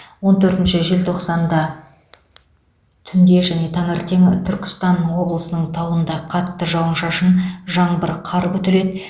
он төртінші желтоқсанда түнде және таңертең түркістан облысының тауында қатты жауын шашын жаңбыр қар күтіледі